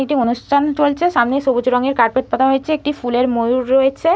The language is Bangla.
একটি অনুষ্ঠান চলছে সামনে সবুজ রংয়ের কারপেট পাতা হয়েছে একটি ফুলের ময়ূর রয়েছে।